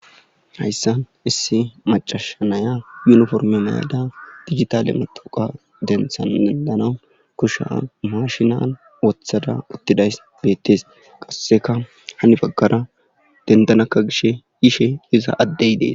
hayssan issi macashanaya yuniforme mayda digitale moxoqa denthan dendanau kusha mashinan woththada uttidays beettes qasseka hani baggara dendanakka gishe yishe iza addey dees